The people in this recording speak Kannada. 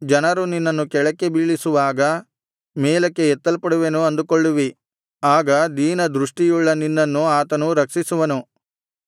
ಜನರು ನಿನ್ನನ್ನು ಕೆಳಕ್ಕೆ ಬೀಳಿಸುವಾಗ ಮೇಲಕ್ಕೆ ಎತ್ತಲ್ಪಡುವೆನು ಅಂದುಕೊಳ್ಳುವಿ ಆಗ ದೀನದೃಷ್ಟಿಯುಳ್ಳ ನಿನ್ನನ್ನು ಆತನು ರಕ್ಷಿಸುವನು